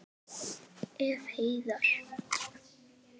Ef. Heiðar